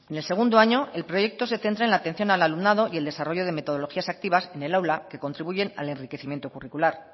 en el segundo año el proyecto se centra en la atención al alumnado y el desarrollo de metodologías activas en el aula que contribuyen al enriquecimiento curricular